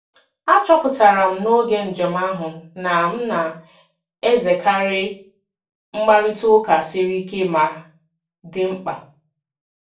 Achọpụtara m n'oge njem ahụ na m na-ezerekarị mkparịta ụka siri ike ma dị mkpa.